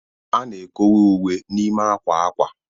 A na-ekowe uwe n'ime akwa akwa